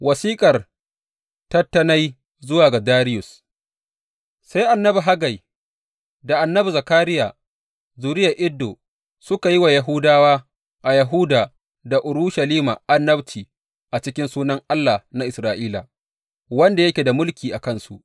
Wasiƙar Tattenai zuwa ga Dariyus Sai annabi Haggai, da annabi Zakariya zuriyar Iddo, suka yi wa Yahudawa a Yahuda da Urushalima annabci a cikin sunan Allah na Isra’ila wanda yake da mulki a kansu.